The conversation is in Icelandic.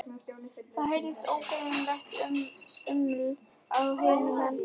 Það heyrist ógreinilegt uml á hinum endanum.